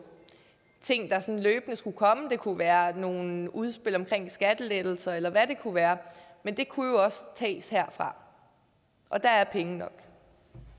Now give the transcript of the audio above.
ting der sådan løbende skulle komme det kunne være nogle udspil om skattelettelser eller hvad det kunne være men det kunne jo også tages herfra og der er penge nok